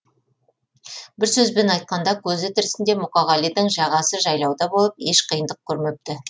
бір сөзбен айтқанда көзі тірісінде мұқағалидың жағасы жайлауда болып еш қиындық көрмепті